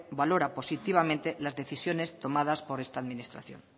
valora positivamente las decisiones tomadas por esta administración